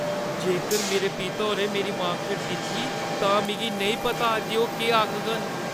जेकर मेरे पिता होरें मेरी मार्क शीट दिक्खी, तां मिगी नेईं पता जे ओह् केह् आखङन।